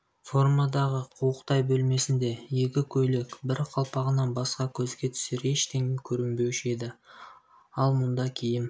фермадағы қуықтай бөлмесінде екі көйлек бір қалпағынан басқа көзге түсер ештеңе көрінбеуші еді ал мұнда киім